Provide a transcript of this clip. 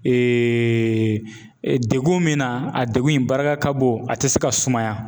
Eeee degun min na a degun in barika ka bon a te se ka sumaya